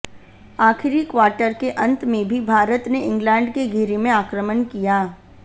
आखिरी क्वार्टर के अंत में भी भारत ने इंग्लैंड के घेरे में आक्रमण किया